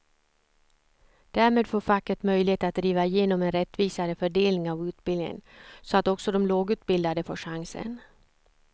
Därmed får facket möjlighet att driva igenom en rättvisare fördelning av utbildningen så att också de lågutbildade får chansen.